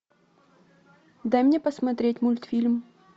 дай мне посмотреть мультфильм